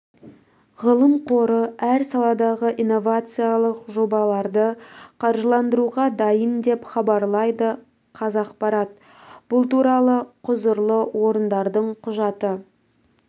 ғылым қоры әр саладағы инновациялық жобаларды қаржыландыруға дайын деп хабарлайды қазақпарат бұл туралы құзырлы орындардың құжаты